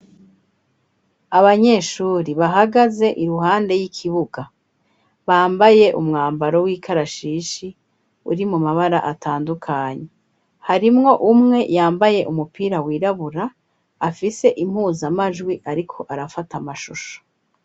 Abanyeshuri bahagaze iruhande y'ikibuga bambaye umwambaro w'ikarashishi uri mu mabara atandukanyi harimwo umwe yambaye umupira wirabura afise impuzamajwi, ariko arafata amashusho.